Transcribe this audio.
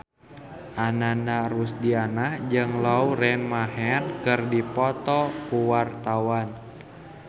Ananda Rusdiana jeung Lauren Maher keur dipoto ku wartawan